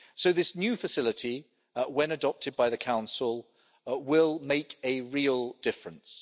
This new facility, when adopted by the Council, will make a real difference.